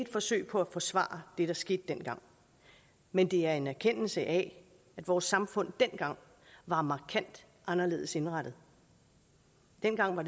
forsøg på at forsvare det der skete dengang men det er en erkendelse af at vores samfund dengang var markant anderledes indrettet dengang var